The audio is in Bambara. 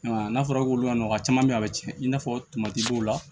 N'a fɔra k'olu ɲana mɔgɔ caman be yen a bi cɛn i n'a fɔ dɔw la